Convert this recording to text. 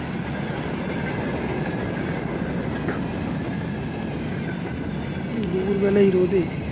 দুপুর বেলা এই রোদে